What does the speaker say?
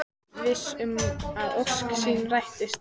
Viss um að ósk sín rætist.